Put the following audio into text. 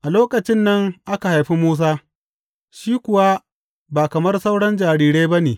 A lokacin nan aka haifi Musa, shi kuwa ba kamar sauran jarirai ba ne.